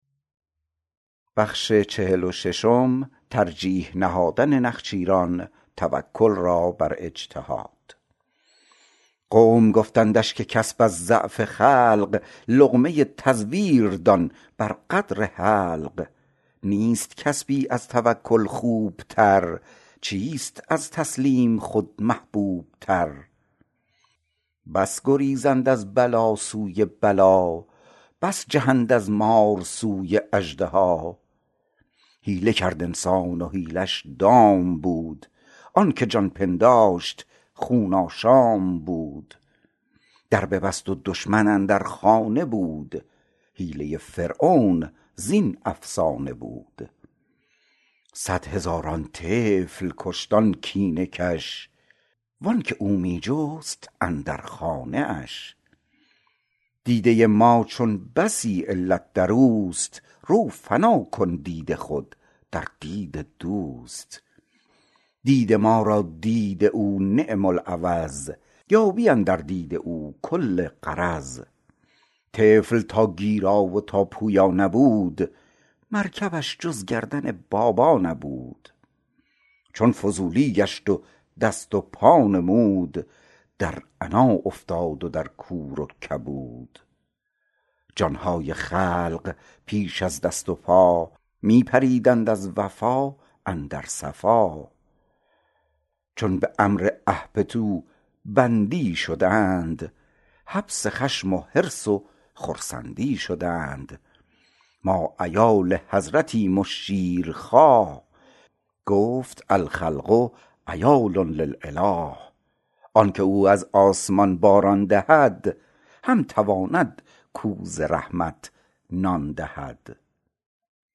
قوم گفتندش که کسب از ضعف خلق لقمه تزویر دان بر قدر حلق نیست کسبی از توکل خوب تر چیست از تسلیم خود محبوب تر بس گریزند از بلا سوی بلا بس جهند از مار سوی اژدها حیله کرد انسان و حیله ش دام بود آنک جان پنداشت خون آشام بود در ببست و دشمن اندر خانه بود حیله فرعون زین افسانه بود صد هزاران طفل کشت آن کینه کش وانک او می جست اندر خانه اش دیده ما چون بسی علت دروست رو فنا کن دید خود در دید دوست دید ما را دید او نعم العوض یابی اندر دید او کل غرض طفل تا گیرا و تا پویا نبود مرکبش جز گردن بابا نبود چون فضولی گشت و دست و پا نمود در عنا افتاد و در کور و کبود جان های خلق پیش از دست و پا می پریدند از وفا اندر صفا چون به امر اهبطوا بندی شدند حبس خشم و حرص و خرسند ی شدند ما عیال حضرتیم و شیر خواه گفت الخلق عیال للاله آنک او از آسمان باران دهد هم تواند کاو ز رحمت نان دهد